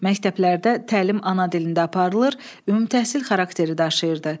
Məktəblərdə təlim ana dilində aparılır, ümumtəhsil xarakteri daşıyırdı.